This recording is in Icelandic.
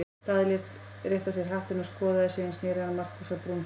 Daði lét rétta sér hattinn og skoðaði, síðan sneri hann Markúsar-Brún frá.